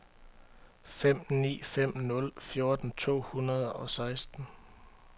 fem ni fem nul fjorten to hundrede og seksten